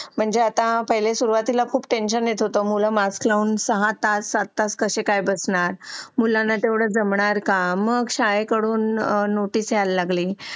मंजे आता सुरुवातीला खूप टेंशन येत होत मूल सहा तास सात तास बसणार का